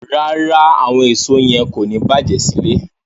Rárá, àwọn èso yẹn kò ní bàjé sílé.